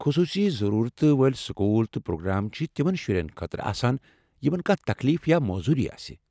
خصوصی ضرورتہٕ وٲلۍ سکوٗل تہٕ پروگرام چھِ تمن شُرٮ۪ن خٲطرٕ آسان یمن کانٛہہ تکلیٖف یا معذوری آسہِ۔